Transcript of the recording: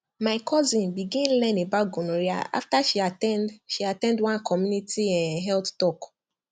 my cousin begin learn about gonorrhea after she at ten d she at ten d one community um health talk